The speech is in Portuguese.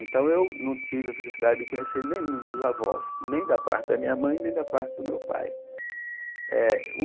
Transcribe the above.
Então, eu não tive a felicidade de conhecer nenhum dos avós, nem da parte da minha mãe, nem da parte do meu pai. eh